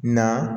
Na